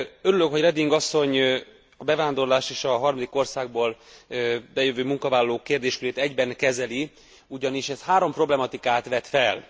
Örülök, hogy Reding asszony a bevándorlást és a harmadik országból bejövő munkavállalók kérdéskörét egyben kezeli, ugyanis ez három problematikát vet fel.